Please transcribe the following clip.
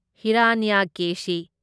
Hiranyakeshi